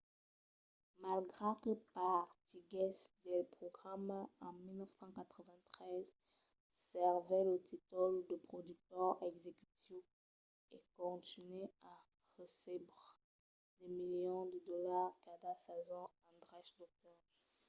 malgrat que partiguèsse del programa en 1993 servèt lo títol de productor executiu e contunhèt a recebre de milions de dolars cada sason en dreches d'autor